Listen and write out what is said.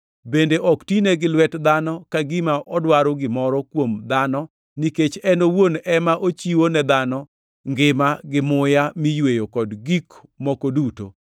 bende ok tine gi lwet dhano ka gima odwaro gimoro kuom dhano nikech en owuon ema ochiwo ne dhano, ngima gi muya mi yweyo kod gik moko duto.